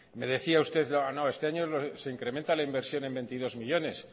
me decía usted no este año se incrementa la inversión en veintidós millónes